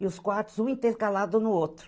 E os quartos, um intercalado no outro.